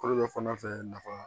Kɔrɔ bɛ fana fɛ nafa